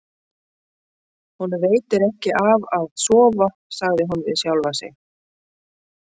Honum veitir ekki af að sofa, sagði hún við sjálfa sig.